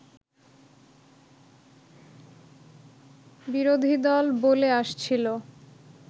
বিরোধীদল বলে আসছিল